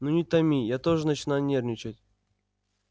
ну не томи я тоже начинаю нервничать